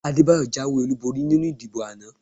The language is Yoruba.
Adébáyọ̀ jáwé olúborí nínú ìdìbò àná